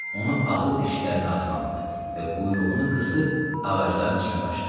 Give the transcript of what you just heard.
Onu azı dişlərinin arasına aldı və quyruğunu qısıb ağacların içinə qaçdı.